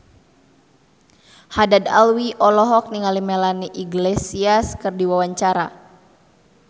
Haddad Alwi olohok ningali Melanie Iglesias keur diwawancara